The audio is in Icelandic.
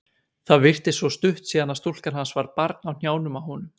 Það virtist svo stutt síðan að stúlkan hans var barn á hnjánum á honum.